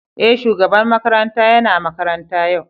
Eh, shugaban makaranta yana makaranta yau.